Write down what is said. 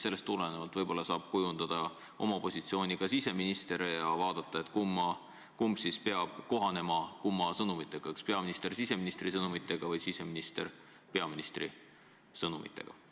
Sellest tulenevalt võib-olla saab kujundada oma positsiooni ka siseminister ja mõelda, kumb kumma sõnumitega kohanema peab: kas peaminister siseministri sõnumitega või siseminister peaministri sõnumitega.